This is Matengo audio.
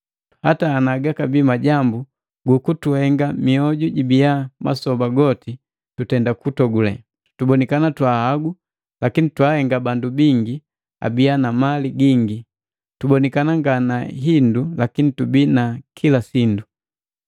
Hata ana gabii majambu gukutuhenga mioju jibina masoba goti tutenda kutogule, tubonikana twahagu lakini twaahenga bandu bingi abiya na mali gingi, tubonikana nga na hindu lakini tubii na kila sindu.